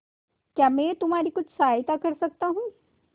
क्या मैं तुम्हारी कुछ सहायता कर सकता हूं